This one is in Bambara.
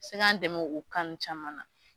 Se k'an dɛmɛ o kan nunnu caman na.